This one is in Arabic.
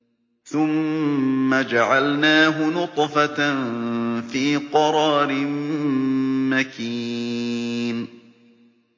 ثُمَّ جَعَلْنَاهُ نُطْفَةً فِي قَرَارٍ مَّكِينٍ